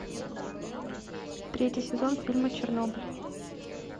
третий сезон фильма чернобыль